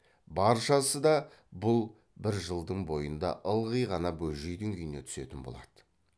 баршасы да бұл бір жылдың бойында ылғи ғана бөжейдің үйіне түсетін болады